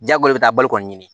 Jago bɛ taa bali kɔni ɲini